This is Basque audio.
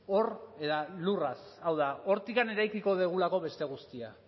hor eta lurraz hau da hortik eraikiko dugulako beste guztia